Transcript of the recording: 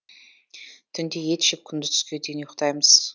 түнде ет жеп күндіз түске дейін ұйықтаймыз